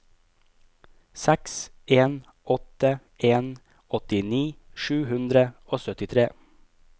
seks en åtte en åttini sju hundre og syttitre